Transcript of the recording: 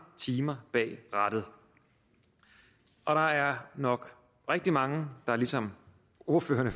timer bag rattet og der er nok rigtig mange ligesom ordførerne